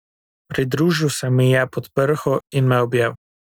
Pridružil se mi je pod prho in me objel.